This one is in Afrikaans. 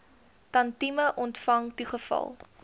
tantième ontvang toegeval